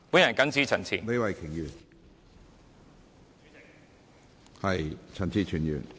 我謹此陳辭。